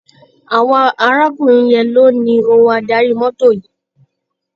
Àwọn arákùnrin yẹn ló ní ohun adarí mọ́tò yìí.